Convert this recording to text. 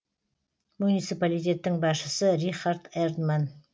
муниципалитеттің басшысы рихард эрдман